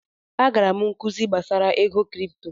Agara m nkuzi gbasara ego kripto.